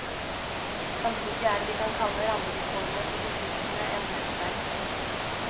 Samtidig er det vi kan kalle rammevilkårene for distriktene endret sterkt.